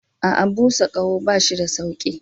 A'a, busa ƙaho ba shi da sauƙi.